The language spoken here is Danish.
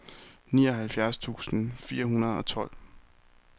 nioghalvfjerds tusind fire hundrede og tolv